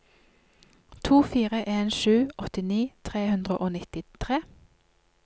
to fire en sju åttini tre hundre og nittitre